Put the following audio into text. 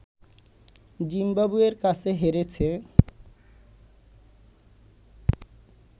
জিম্বাবুয়ের কাছে হেরেছে